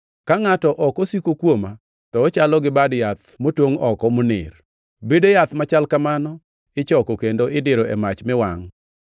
Ka ngʼato ok osiko kuoma, to ochalo gi bad yath motongʼ oko maner. Bede yath machal kamano ichoko kendo idiro e mach mi wangʼ.